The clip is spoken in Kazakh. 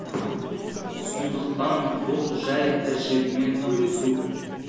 сондықтан бұл жәй тәжірибемен бөлісу